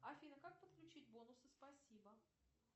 афина как подключить бонусы спасибо